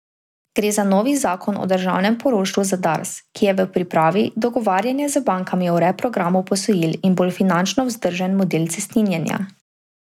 Gre za novi zakon o državnem poroštvu za Dars, ki je v pripravi, dogovarjanje z bankami o reprogramu posojil in bolj finančno vzdržen model cestninjenja.